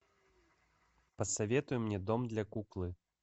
посоветуй мне дом для куклы